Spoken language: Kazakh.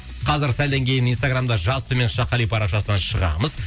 қазір сәлден кейін инстаграмда жас төмен сызықша қали парақшасына шығамыз